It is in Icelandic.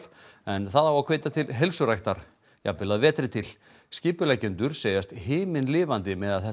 en það á að hvetja til heilsuræktar jafnvel að vetri til skipuleggjendur segjast himinlifandi með að þetta